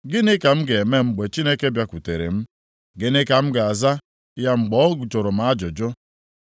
gịnị ka m ga-eme mgbe Chineke bịakwutere m? Gịnị ka m ga-aza ya mgbe ọ jụrụ m ajụjụ?